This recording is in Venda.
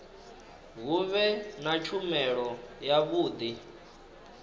hu vhe na tshumelo yavhudi